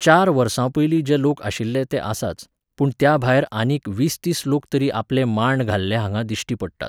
चार वर्सां पयली जे लोक आशिल्ले ते आसाच, पूण त्याभायर आनीक वीसतीस लोक तरी आपले मांड घाल्ले हांगा दिश्टी पडटात